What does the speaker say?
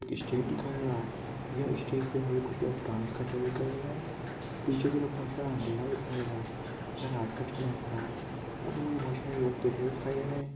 Stage दिखाई दे रहा है यह स्टेज पे मुझे कुछ लोग डांस करते हुए दिखाई दे रहे है पीछे की तरफ बहुत सारा अँधेरा दिखाई दे रहा है यह रात का समय हो रहा है यहाँ पे मुझे बहुत सारे लोग पीछे भी दिखाई दे रहे है।